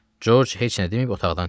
Corc heç nə deməyib otaqdan çıxdı.